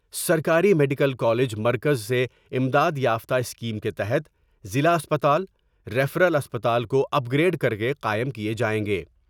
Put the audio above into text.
سرکاری medical college مرکز سے امداد یافتہ اسکیم کے تحت ضلع اسپتال ، ریفرل اسپتال کو اپ گریڈ کر کے قائم کئے جائیں گے ۔